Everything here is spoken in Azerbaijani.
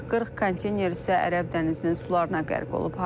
40 konteyner isə Ərəb dənizinin sularına qərq olub.